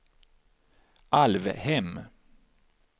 Alvhem